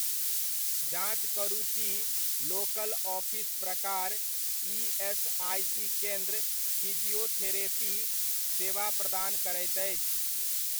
जाँच करू की लोकल ऑफिस प्रकार ईएसआइसी केन्द्र फिजियोथेरेपी सेवा प्रदान करैत अछि?